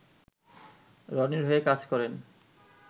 রনির হয়ে কাজ করেন